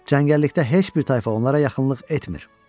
Cəngəllikdə heç bir tayfa onlara yaxınlıq etmir.